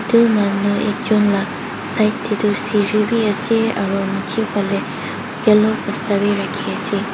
etu manu ekjon laga side teh toh seri beh ase aro neji phali yellow bosta beh raki ase.